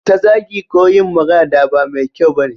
Ta zagi ko yin magana da ba mai kyau bane